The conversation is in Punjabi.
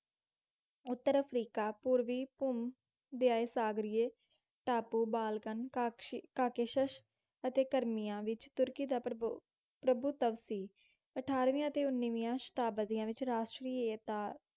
ਉੱਤਰ ਅਫਰੀਕਾ, ਪੂਰਵੀ ਭੂਮਧਿਅਸਾਗਰੀਏ ਟਾਪੂ, ਬਾਲਕਨ, ਕਾਕਸ਼~ ਕਾਕਾਕੇਸ਼ਸ ਅਤੇ ਕਰੀਮਿਆ ਵਿੱਚ ਤੁਰਕੀ ਦਾ ਪ੍ਰਵ~ ਪ੍ਰਭੁਤਵ ਸੀ। ਅਠਾਰਵੀਆਂ ਅਤੇ ਉੱਨੀਵੀਆਂ ਸ਼ਤਾਬਦੀਆਂ ਵਿੱਚ ਰਾਸ਼ਟਰੀਅਤਾ